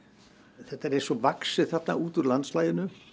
þetta er eins og vaxið þarna út úr landslaginu